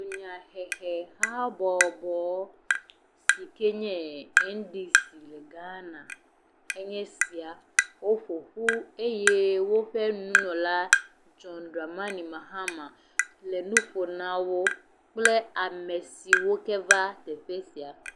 Dunyahehe habɔbɔ si ke nye NDC le Ghana enye sia. Woƒoƒu eye woƒe nunɔla John Dramani Mahama le nu ƒom na wo kple ame siwo ke va teƒe sia.